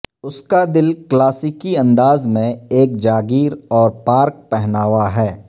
اس کا دل کلاسیکی انداز میں ایک جاگیر اور پارک پہناوا ہے